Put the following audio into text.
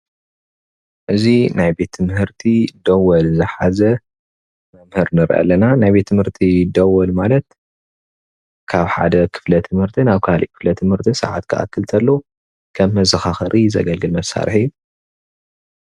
እዚ ናይ ቤት ትምህርቲ ደወል ዝሐዘ መምህር ንርኢ ኣለና ናይ ቤት ትምህርቲ ደወል ማለት ካብ ሓደ ክፍለ ትምህርቲ ናብ ካልእ ክፍለ ትምህርቲ ሰዓት ክአክል ቶሎ ከም መዘካከሪ ዘገልግል መሳሪሒ እዩ።